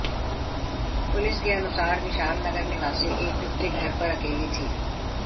police के अनुसार विशाल नगर निवासी एक युवती घर पर अकेली थी